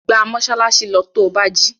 Gba mọ́ṣáláṣí lọ to bá jí!